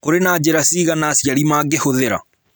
Kũrĩ na njĩra cigana aciari mangĩhũthĩra.